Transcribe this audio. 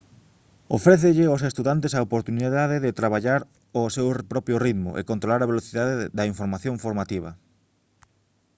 ofrécelle aos estudantes a oportunidade de traballar ao seu propio ritmo e controlar a velocidade da información formativa